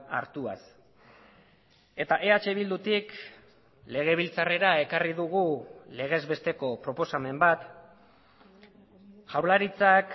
hartuaz eta eh bildutik legebiltzarrera ekarri dugu legez besteko proposamen bat jaurlaritzak